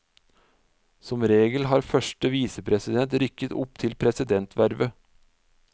Som regel har første visepresident rykket opp til presidentvervet.